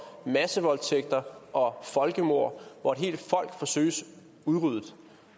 massevoldtægter og folkemord hvor et helt folk forsøges udryddet